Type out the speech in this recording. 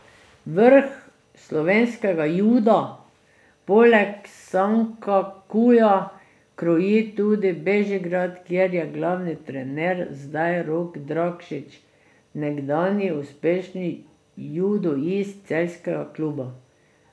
Vrh slovenskega juda poleg Sankakuja kroji tudi Bežigrad, kjer je glavni trener zdaj Rok Drakšič, nekdanji uspešni judoist celjskega kluba.